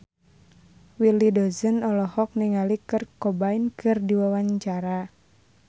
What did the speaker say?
Willy Dozan olohok ningali Kurt Cobain keur diwawancara